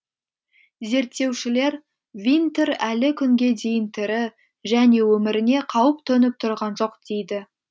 зерттеушілер винтер әлі күнге дейін тірі және өміріне қауіп төніп тұрған жоқ дейді